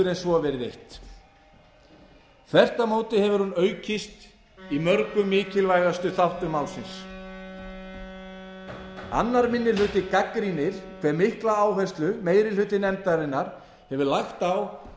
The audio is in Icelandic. en svo verið eytt þvert á móti hefur hún aukist í mörgum mikilvægustu þáttum málsins annar annar minni hluti gagnrýnir hve mikla áherslu meiri hluti nefndarinnar hefur lagt á að